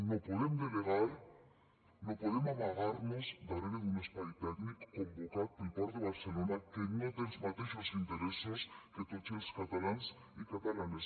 no podem delegar no podem amagar nos darrere d’un espai tècnic convocat pel port de barcelona que no té els mateixos interessos que tots els catalans i catalanes